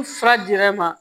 Ni fura dira e ma